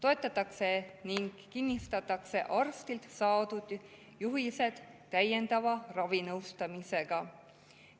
Arstilt saadud juhiseid toetatakse ning kinnistatakse täiendava ravinõustamisega.